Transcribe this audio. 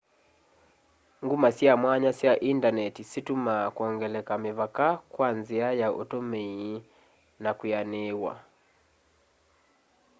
nguma sya mwanya sya indaneti situmaa kwongeleka mĩvaka kwa nzia ya utumii na kwianiiwa